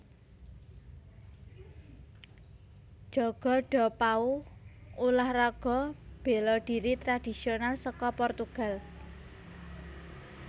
Jogo do pau Ulah raga béla dhiri tradhisional saka Portugal